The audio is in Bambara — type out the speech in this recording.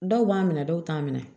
Dɔw b'a minɛ dɔw t'a minɛ